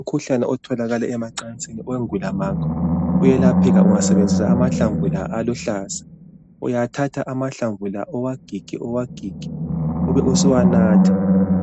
Umkhuhlane otholakala emacansini, owengulamakhwa uyelapheka ungasebenzisa amahlamvu la aluhlaza. Uyathatha amahlamvu la, uwagige , uwagige, ubusuwanatha.